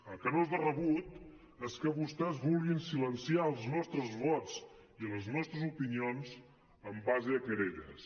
el que no és de rebut és que vostès vulguin silenciar els nostres vots i les nostres opinions en base a querelles